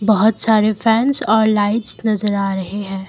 बहोत सारे फैंस और लाइट्स नजर आ रहे हैं।